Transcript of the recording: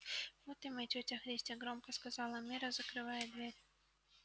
вот и мы тётя христя громко сказала мирра закрывая дверь